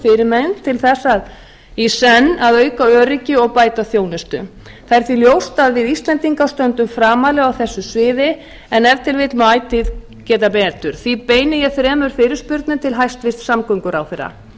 fyrirmynd til þess í senn að auka öryggi og bæta þjónustu það er því ljóst að við íslendingar stöndum framarlega á þessu sviði en ef til vill má ætíð gera betur því beini ég þeirri þremur fyrirspurnum til hæstvirts samgönguráðherra í